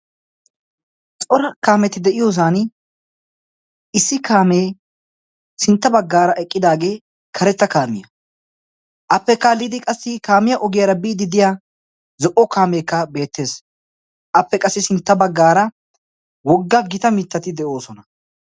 Cora kaameti de'iyoosan issi kaamee sintta baggaara eqqidaagee karetta kaamiya appe kaalliidi qassi kaamiya ogiyaara biidi diya zo"o kaameekka beettees. appe qassi sintta baggaara wogga gita mittati de'oosona.